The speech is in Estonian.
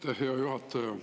Aitäh, hea juhataja!